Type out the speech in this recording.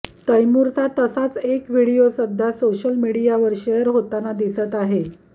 तैमूरचा तसाच एक व्हिडिओ सध्या सोशल मीडियावर शेअर होताना दिसत आहे